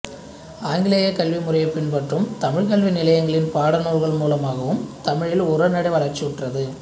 ஆங்கிலேயக் கல்வி முறையைப் பின்பற்றும் தமிழ்க் கல்வி நிலையங்களின் பாடநூல்கள் மூலமாகவும் தமிழில் உரைநடை வளர்ச்சியுற்றது